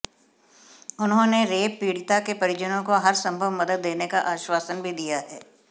उन्होंने रेप पीड़िता के परिजनों को हर संभव मदद देने का आश्वासन भी दिया है